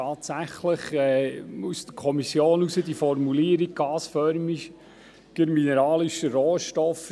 Tatsächlich stammt aus der Kommission die Formulierung «gasförmiger mineralischer Rohstoff».